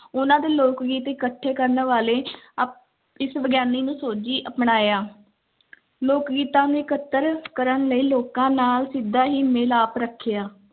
ਉਹਨਾਂ ਦੇ ਲੋਕ-ਗੀਤ ਇਕੱਠੇ ਕਰਨ ਵਾਲੇ ਆਹ ਇਸ ਵਿਗਿਆਨੀ ਨੂੰ ਸੋਝੀ ਅਪਣਾਇਆ ਲੋਕ-ਗੀਤਾਂ ਨੂੰ ਇਕੱਤਰ ਕਰਨ ਲਈ ਲੋਕਾਂ ਨਾਲ ਸਿੱਧਾ ਹੀ ਮਿਲਾਪ ਰੱਖਿਆ।